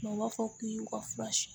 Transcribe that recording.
Mɛ u b'a fɔ k'i y'u ka fura ye